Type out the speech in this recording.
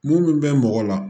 Mun bɛ mɔgɔ la